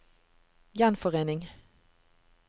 gjenforening